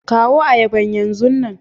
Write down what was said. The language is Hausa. kawo ayaban yan zanu.